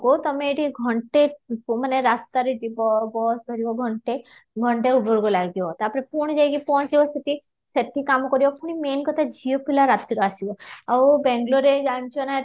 କୁ ତୋମେ ଏଠି ଘଣ୍ଟେ ମାନେ ରାସ୍ତାରେ ଯିବ bus ଧରିବ ଘଣ୍ଟେ ଘଣ୍ଟେ ଉପରକୁ ଲାଗିବ ତା'ପରେ ପୁଣି ଯାଇକି ପହଞ୍ଚିବ ସେଠି ସେଠି କାମ କରିବ ପୁଣି main କଥା ଝିଅ ପିଲା ରାତିରୁ ଆସିବା ଆଉ ବେଙ୍ଗାଲୁରୁରେ ଜାଣିଛନା ଏଥର